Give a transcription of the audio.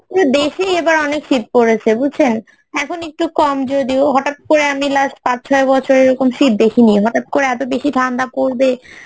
বেশি এবার অনেক শীত পড়েছে, বুঝছেন এখন একটু কম যদিও হঠাত করে আমি last পাঁচ ছয় বছর আমি এইরকম শীত দেখিনি হঠাত করে এত বেশি ঠান্ডা পরবে